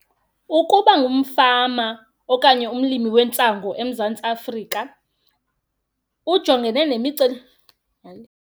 Ukuba ngumfama okanye umlimi wentsangu eMzantsi Afrika kujongene hayi.